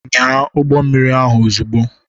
Nyaa ụgbọ mmiri ahụ ozugbo.